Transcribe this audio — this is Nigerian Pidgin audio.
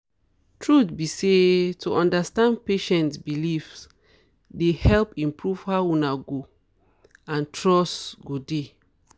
truth be say to understand patient beliefs dey help improve how una go and trust go dey